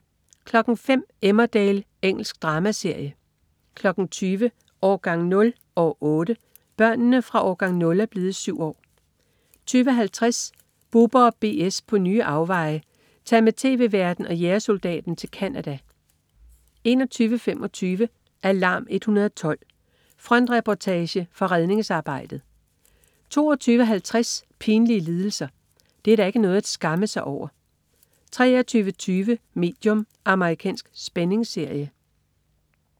05.00 Emmerdale. Engelsk dramaserie 20.00 Årgang 0 - år 8. Børnene fra "Årgang 0" er blevet syv år 20.50 Bubber & BS på nye afveje. Tag med tv-værten og jægersoldaten til Canada 21.25 Alarm 112. Frontreportage fra redningsarbejdet 22.50 Pinlige lidelser. Det er da ikke noget at skamme sig over! 23.20 Medium. Amerikansk spændingsserie